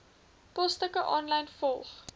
posstukke aanlyn volg